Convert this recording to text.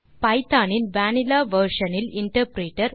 Python இன் vanilla version இல் interpreter